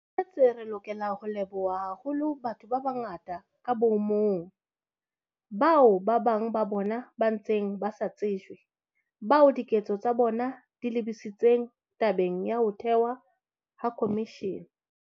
Re lokela ho leboha haholo batho ba bangata ka bo mong, bao bang ba bona ba ntseng ba sa tsejwe, bao diketso tsa bona di lebisitseng tabeng ya ho thehwa ha khomishene.